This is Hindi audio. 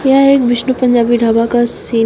यह एक विष्णु पंजाबी ढाबा का सीन है।